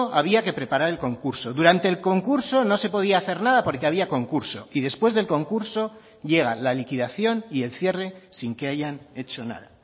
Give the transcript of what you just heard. había que preparar el concurso durante el concurso no se podía hacer nada porque había concurso y después del concurso llega la liquidación y el cierre sin que hayan hecho nada